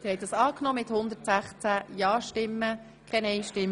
Sie haben die Jahresrechnung einstimmig genehmigt.